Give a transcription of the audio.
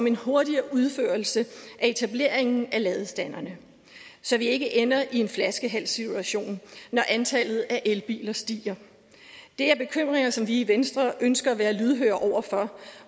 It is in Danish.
en hurtigere udførelse af etableringen af ladestanderne så vi ikke ender i en flaskehalssituation når antallet af elbiler stiger det er bekymringer som vi i venstre ønsker at være lydhøre over for